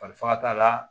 Faga t'a la